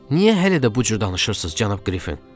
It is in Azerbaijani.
Niyə hələ də bu cür danışırsız cənab Qrifin?